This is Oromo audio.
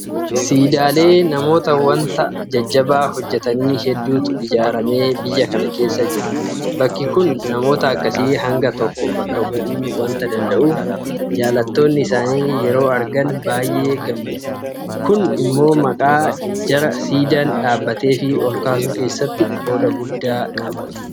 Siidaalee namoota waanta jajjabaa hojjetanii hedduutu ijaaramee biyya kana keessa jira. Bakki kun namoota akkasii hanga tokko bakka bu'uu waanta danda'uuf jaalattoonni isaanii yeroo argan baay'ee gammadu. Kun immoo maqaa jara siidaan dhaabateefii olkaasuu keessatti qooda guddaa qaba.